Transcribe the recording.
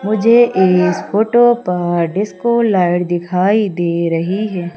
मुझे इस फोटो पर डिस्को लाइट दिखाई दे रही है।